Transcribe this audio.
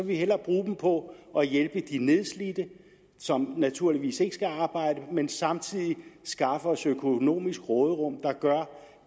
vi hellere bruge dem på at hjælpe de nedslidte som naturligvis ikke skal arbejde men samtidig skaffe os et økonomisk råderum der gør